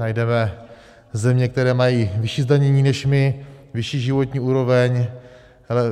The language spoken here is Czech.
Najdeme země, které mají vyšší zdanění než my, vyšší životní úroveň,